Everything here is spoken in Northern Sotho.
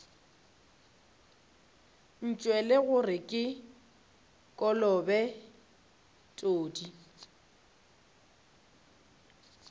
ntšwele gore ke kolobe tsodii